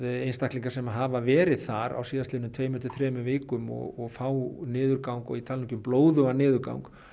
einstaklingar sem hafa verið þar á síðastliðnum tveimur til þremur vikum og fá niðurgang og ég tala ekki um blóðugan niðurgang